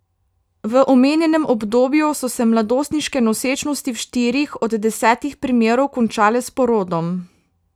V omenjenem obdobju so se mladostniške nosečnosti v štirih od desetih primerov končale s porodom.